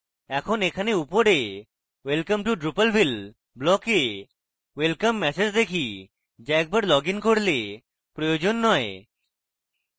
এখন এখানে উপরে welcome to drupalville block we welcome message দেখি যা একবার লগইন করলে প্রয়োজন নয়